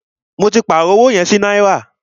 Mó tí pàárọ̀ ọwọ yẹn sí náírà.